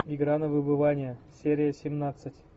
игра на выбывание серия семнадцать